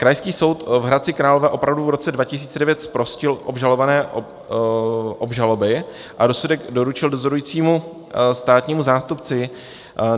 Krajský soud v Hradci Králové opravdu v roce 2009 zprostil obžalované obžaloby a rozsudek doručil dozorujícímu státnímu zástupci.